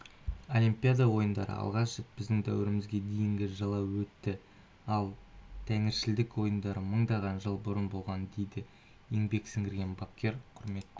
олимпиада ойындары алғаш рет біздің дәуірімізге дейінгі жылы өтті ал тәңіршілдік ойындар мыңдаған жыл бұрын болған дейді еңбек сіңірген бапкер құрметті